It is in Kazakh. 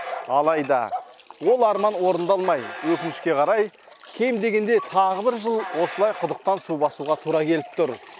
алайда ол арман орындалмай өкінішке қарай кем дегенде тағы бір жыл осылай құдықтан су басуға тура келіп тұр